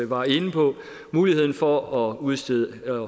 var inde på muligheden for at udstede